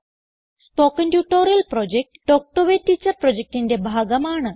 spoken tutorial project talk to a teacher പ്രൊജക്റ്റിന്റെ ഭാഗമാണ്